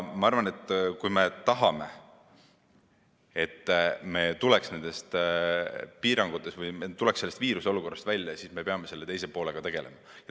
Ma arvan, et kui me tahame, et me tuleksime nendest piirangutest või sellest viiruseolukorrast välja, siis me peame selle teise poolega tegelema.